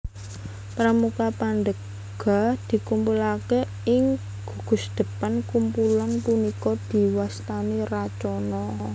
Pramuka Pandega dikumpulake ing gugusdepan kumpulan punika diwastani Racana